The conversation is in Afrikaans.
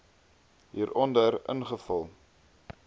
h hieronder invul